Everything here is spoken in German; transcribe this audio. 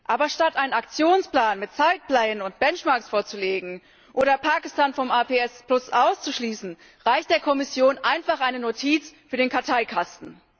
Aber statt einen Aktionsplan mit Zeitplänen und Benchmarks vorzulegen oder Pakistan vom APS auszuschließen, reicht der Kommission einfach eine Notiz für den Karteikasten.